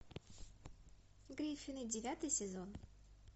гриффины девятый сезон